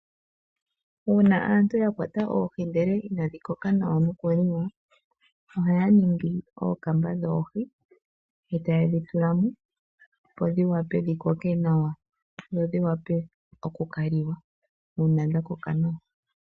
Uuna aantu ya kwata oohi ndele inadhi koka nawa noku li wa, ohaya ningi ookamba dhoohi, e taye dhi tula mo opo dhiwape dhi koke nawa, dho dhi wape oku kali wa, uuna dha koka nawa.